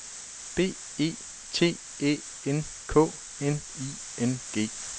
B E T Æ N K N I N G